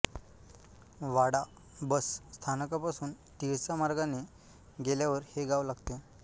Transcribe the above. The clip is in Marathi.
वाडा बस स्थानकापासून तिळसा मार्गाने गेल्यावर हे गाव लागते